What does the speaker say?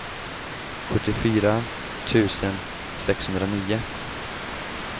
sjuttiofyra tusen sexhundranio